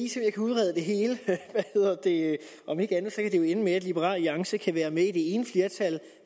jeg kan udrede det hele om ikke andet kan det jo ende med at liberal alliance kan være med i det ene flertal